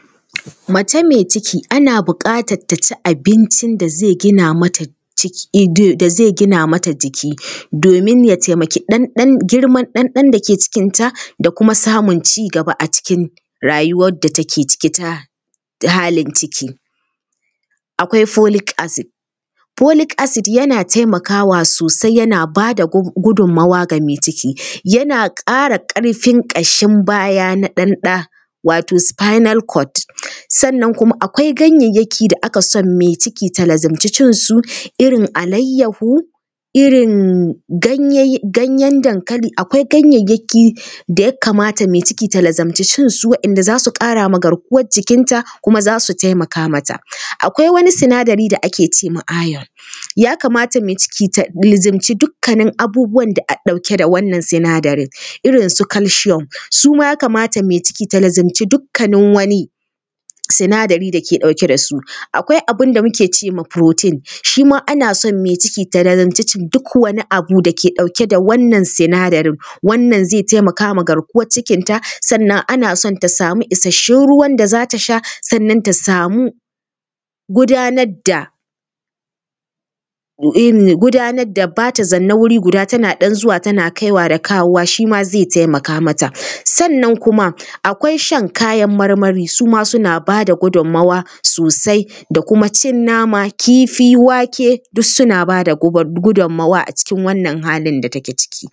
Mace mai ciki ana buƙatar ta ci abincin da zai gina mata jiki domin ya taimaki girman ɗanɗan da ke cikinta da kuma samun ci gaba a cikin rayuwar da take ciki ta ta halin ciki. Akwai folic acid: folic acid yana taimakwa sosai, yana ba da gudunmuwa ga mai ciki. Yana ƙara ƙarfin ƙashin baya na ɗa, wato spinal code. Sannan kuma akwai ganyayyaki da ake son mai ciki ta lazumci cinsu, irin alayyahu, irin ganyen dankali, akwai ganyayyaki da ya kamata mai ciki ta lazumci shansu, waɗanda za su ƙara ma garkuwar jikinta kuma za su taimaka mata. akwai wani sinadari da ake ce ma iron: ya kamata mai ciki ta lazumci dukkanin abubuwan da aɗɗauke da wannan sinadarin, irin su calcium, su ma ya kamata mai ciki ta lazumci dukkanin wani sinadari da ke ɗauke da su. Akwai abin da muke ce ma ‘protein’: shi ma ana son mai ciki ta lazumci cin duk wani abu da ke ɗauke da wannan sinadarin. Wannan zai taimaka ma garkuwar cikinta, sannan ana son ta samu isasshen ruwan da za ta sha, sannan ta samu gudanar da gudanar da ba ta zanne wuri guda, tana ɗan zuwa tana kaiwa da kawowa, shi ma zai taimaka mata. Sannan kuma akwai shan kayan marmari, su ma suna ba da gudunmuwa sosai, da kuma cin nama, kifi, wake, duk suna ba da gudunmuwa cikin wannan halin da take ciki.